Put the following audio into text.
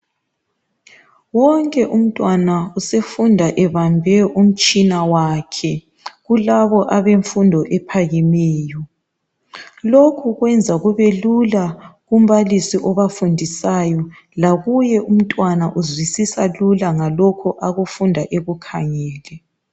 wonke umntwana usefunda ebambe umtshina wakhe kulabo abemfundo ephakemeyo lokhu kwenza kubelula kumbalisi obafundisayo lakuye umntwana uzwisisa lula ngalokho akufunda ekukhangele